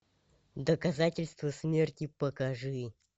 доказательство смерти покажи